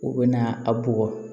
U bɛ na a bugɔ